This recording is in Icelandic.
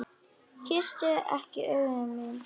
Kysstu ekki augu mín.